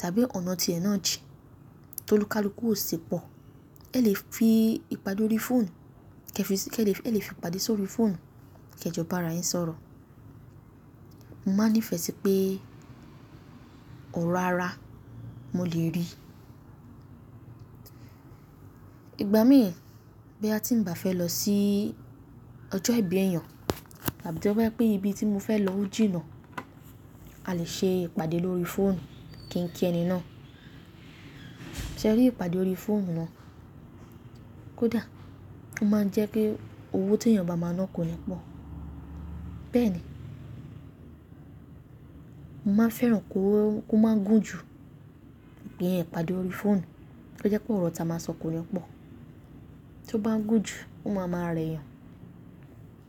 tàbí ọ̀nà tí ẹ náà jìn tó lúkàlùkù ò si pọ̀, ẹ lè fi ìpàdé órí fóònù, kí ẹ fi sí, kí ẹ lè fi ìpàdé sórí fóònù kí ẹ jọ bá ara yín sọ̀rọ̀. N máa ń nífẹ sí pé, ọra ara mo lè rí. Ìgbà mí è, bí a ti ń bá fẹ́ lọ sí ọjọ́ ìbí èèyàn àbí tí ó wá pé ibi tí mo fẹ́ lọ jìnà, a lè ṣe ìpàdé lórí fóònù kí n kí ẹni náà. Sẹ ri ìpàdé lórí fóònù náà, kódà ó máa ń jẹ́ kí owó tí èèyàn bá máa ná kó ni pọ̀. Bẹ́ẹ̀ni, n man fẹ́ràn kó máa gùn jù, ìpè yẹn ìpàdé orí fóònù, tó jẹ́ pé ọ̀rọ̀ tá ma sọ kò ní pọ̀. Tó bá ń gùn jù, ó máa ń rẹ ẹ́ yàn.